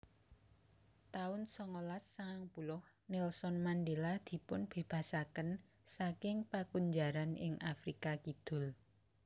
taun songolas sangang puluh Nelson Mandela dipunbébasaken saking pakunjaran ing Afrika Kidul